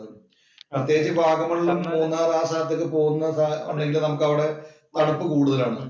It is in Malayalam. പ്രത്യേകിച്ചു വാഗമണ്ണിലും, മൂന്നാര്‍ ആ സ്ഥലത്തൊക്കെ പോകുന്നുണ്ടെങ്കില്‍ നമുക്ക് അവിടെ തണുപ്പ് കൂടുതലാണ്.